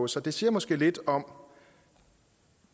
sig det siger måske lidt om